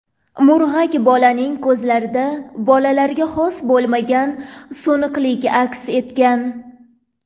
Murg‘ak bolaning ko‘zlarida bolalarga xos bo‘lmagan so‘niqlik aks etgan.